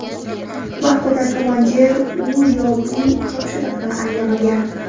Vaqtida komandir u yo bu topshiriqni anglamagan.